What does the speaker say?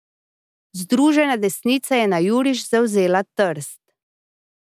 Združena desnica je na juriš zavzela Trst.